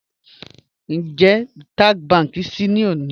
Ńjẹ̀ Taj Bank ṣíì lónì?